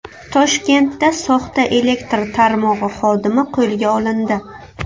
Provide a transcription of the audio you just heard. Toshkentda soxta elektr tarmog‘i xodimi qo‘lga olindi.